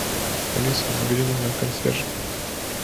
алиса набери номер консьержа